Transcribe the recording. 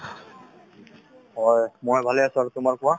হয়, মই ভালে আছো আৰু তোমাৰ কোৱা